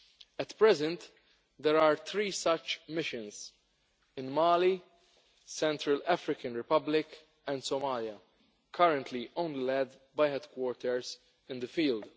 At present, there are three such missions in Mali, Central African Republic and Somalia, which are currently only led by headquarters in the field.